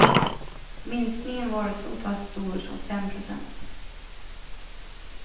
Minskningen var så pass stor som fem procent.